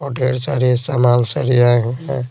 ढेर सारे समान सरियाएं हैं।